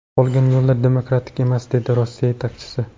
Qolgan yo‘llar demokratik emas”, dedi Rossiya yetakchisi.